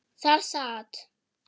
Þar sat